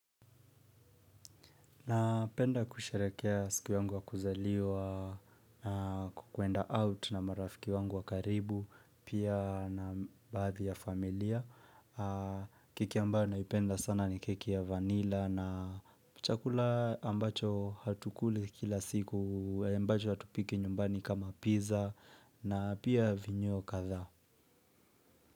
Napenda kusherehekea siku yangu wa kuzaliwa na kukuenda nje na marafiki wangu wa karibu. Pia na baadhi ya familia. Keki ambayo naipenda sana ni keki ya vanila na chakula ambacho hatukuli kila siku, ambacho hatupiki nyumbani kama pizza na pia mivinyo kadhaa.